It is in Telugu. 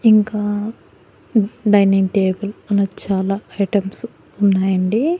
ఇంకా డైనింగ్ టేబుల్ మనకు చాలా ఐటమ్సు ఉన్నాయండి.